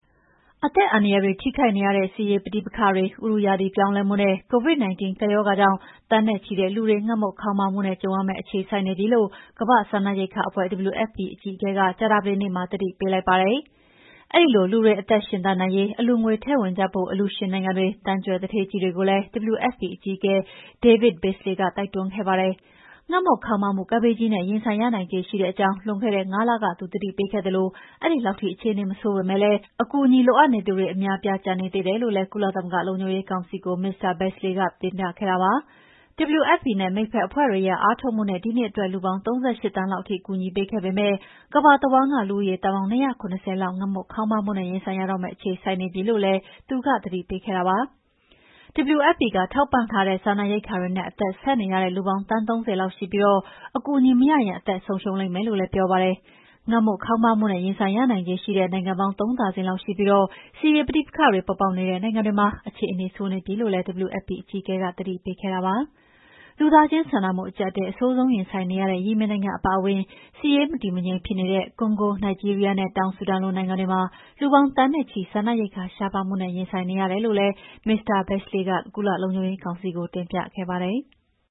အသက်အန္တရာယ်တွေ ထိခိုက်နေရတဲ့ စစ်ရေးပဋိပက္ခတွေ၊ ဥတုရာသီပြောင်းလဲမှှုနဲ့ COVID-19 ကပ်ရောဂါကြောင့် သန်းနဲ့ချီတဲ့လူတွေ ငတ်မွတ်ခေါင်းပါးမှုနဲ့ ကြုံရမယ့်အခြေဆိုက်နေပြီလို့ ကမ္ဘာ့စားနပ်ရိက္ခာအဖွဲ့ (WFP) အကြီးအကဲက ကြာသပတေးနေ့ကမှာ သတိပေးလိုက်ပါတယ်။ အဲဒီလိုလူတွေ အသက်ရှင်သန်နိုင်ရေး အလှူငွေထည့်ဝင်ကြဖို့ အလှူရှင်နိုင်ငံတွေ၊ သန်းကြွယ်သူဌေးကြီးတွေကိုလည်း WFP အကြီးအကဲ David Beasley က တိုက်တွန်းခဲ့ပါတယ်။ ငတ်မွတ်ခေါင်းပါးမှု ကပ်ဘေးကြီးနဲ့ ရင်ဆိုင်ရနိုင်ခြေရှိတဲ့အကြောင်း လွန်ခဲ့တဲ့ ၅ လက သူသတိပေးခဲ့သလို အဲဒီလောက်ထိ အခြေအနေမဆိုးပေမဲ့ အကူအညီ လိုအပ်နေသူတွေ အများအပြား ကျန်နေသေးတယ်လို့လည်း ကုလသမဂ္ဂလုံခြုံရေးကောင်စီကို Mr. Beasley ကတင်ပြခဲ့ပါတယ်။ WFP နဲ့ မိတ်ဖက်အဖွဲ့တွေရဲ့အားထုတ်မှုနဲ့ ဒီနှစ်အတွက်လူပေါင်း ၃၈ သန်းလောက်ထိ ကူညီပေးခဲ့ပေမဲ့ ကမ္ဘာတဝန်းက လူဦးရေသန်းပေါင်း ၂၇၀ လောက် ငတ်မွတ်ခေါင်းပါးမှုနဲ့ ရင်ဆိုင်ရတော့မယ့် အခြေဆိုက်နေပြီလို့လည်း Beasley က သတိပေးခဲ့တာပါ။ WFP ကထောက်ပံ့တဲ့ စားနပ်ရိက္ခာတွေနဲ့ အသက်ဆက်နေရတဲ့လူ သန်းပေါင်း ၃၀ လောက်ရှိပြီး အကူအညီမရရင် အသက်ဆုံးရှုံးလိမ့်မယ်လို့ လည်းပြောပါတယ်။ ငတ်မွတ်ခေါင်းပါးမှုနဲ့ ရင်ဆိုင်ရနိုင်ခြေရှိတဲ့နိုင်ငံပေါင်း ၃ ဒါဇင်လောက်ထိရှိပြီး စစ်ရေးပဋိပက္ခတွေပေါ်ပေါက်နေတဲ့နိုင်ငံတွေမှာ အခြေအနေဆိုးနေပြီလို့လည်း WFP အကြီးအကဲက သတိပေးခဲ့ပါတယ်။ လူသားချင်စာနာမှုအကြပ်အတည်း အဆိုးဆုံးရင်ဆိုင်နေရတဲ့ ယီမင်နိုင်ငံအပါအဝင် စစ်ရေးမတည်မငြိမ်ဖြစ်နေတဲ့ ကွန်ဂို၊ နိုင်ဂျီးရီးယားနဲ့ တောင်ဆူဒန်လိုနိုင်ငံတွေမှာ လူပေါင်း သန်းနဲ့ချီ စားနပ်ရိက္ခာရှားပါးမှုနဲ့ ရင်ဆိုင်နေရတယ်လို့လည်း မစ္စတာ Beasley က ကုလလုံခြုံရေးကောင်စီကို တင်ပြပါတယ်။